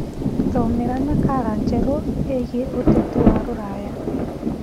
thomera nakala njeru iigie uteti wa ruraya